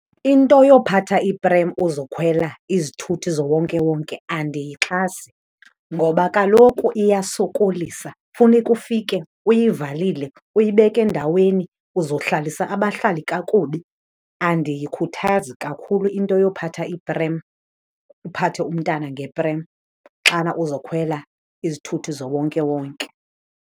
Into yophatha iprem uzokhwela izithuthi zowonkewonke andiyixhasi ngoba kaloku iyasokolisa. Funeka ufike uyivalile, uyibeke endaweni, uzohlalisa abahlali kakubi. Andiyikhuthazi kakhulu into yophatha iprem, uphathe umntana ngeprem xana uzokhwela izithuthi zowonkewonke.